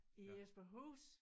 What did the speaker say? I Jesperhus